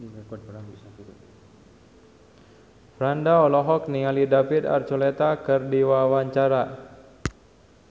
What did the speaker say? Franda olohok ningali David Archuletta keur diwawancara